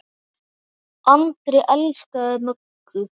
Andri elskaði Möggu.